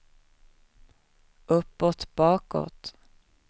uppåt bakåt